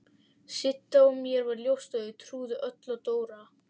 Sidda og mér varð ljóst að þau trúðu öll Dóra.